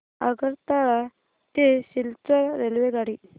आगरतळा ते सिलचर रेल्वेगाडी